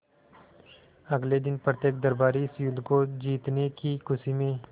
अगले दिन प्रत्येक दरबारी इस युद्ध को जीतने की खुशी में